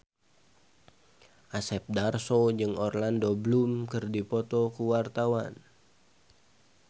Asep Darso jeung Orlando Bloom keur dipoto ku wartawan